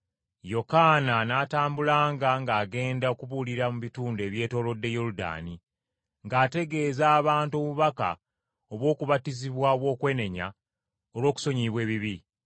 Yokaana n’atambulanga ng’agenda abuulira mu bitundu ebyetoolodde Yoludaani, ng’ategeeza abantu obubaka obw’okubatizibwa obw’okwenenya olw’okusonyiyibwa ebibi,